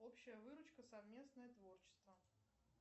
общая выручка совместное творчество